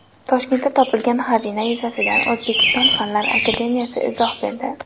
Toshkentda topilgan xazina yuzasidan O‘zbekiston Fanlar akademiyasi izoh berdi.